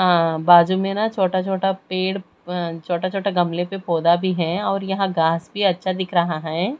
अं बाजू में ना छोटा छोटा पेड़ अं छोटा छोटा गमले पे पौधा भी है और यहां घास भी अच्छा दिख रहा है।